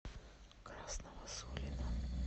красного сулина